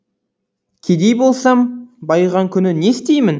кедей болсам байыған күні не істеймін